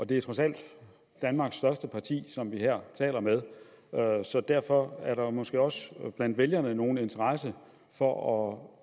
det er trods alt danmarks største parti som vi her taler med så derfor er der jo måske også blandt vælgerne nogen interesse for at